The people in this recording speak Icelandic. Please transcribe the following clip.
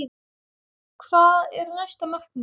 Hvað er næsta markmið?